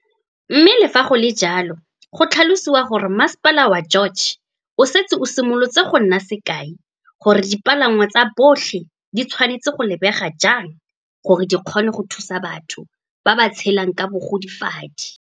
Mme le fa go le jalo go tlhalosiwa gore Masepala wa George o setse o simolotse go nna sekai gore dipalangwa tsa botlhe di tshwanetse go lebega jang gore di kgone go thusa batho ba ba tshelang ka bogodi fadi.